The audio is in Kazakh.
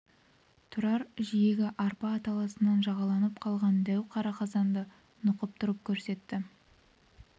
тұрар жиегі арпа аталасынан жағалданып қалған дәу қара қазанды нұқып тұрып көрсетті